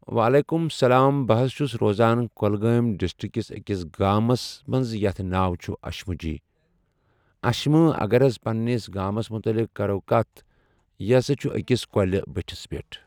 وعلیکُم سَلام بہٕ حظ چھُس روزان کۄلگٲمۍ ڈِسٹِکس ٲکِس گامَس منز یَتھ حظ ناو چھُ عٔشمُجۍ عشمہٕ اَگر حظ پَننِس گامَس مُتعلِق کَرو کَتھ یہِ ہسا چھُ ٲکِس کۄلہِ بٔٹھِس پؠٹھ ۔